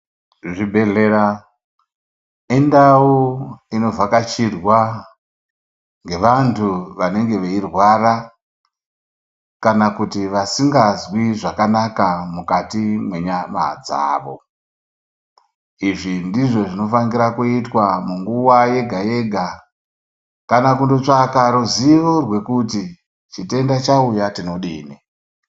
Zvibhedhlera indau inovhakachirwa ngevantu vanege veyi rwara, kana kuti vasingazwi zvakanaka mukati mwenyama dzavo, izvi ndizvo zvinofanikira kuyitwa munguva yega-yega ,kana kundotsvaka ruzivo rwekuti chitenda chauya tinodini?